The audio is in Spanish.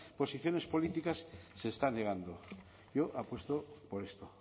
posiciones políticas se está negando yo apuesto por esto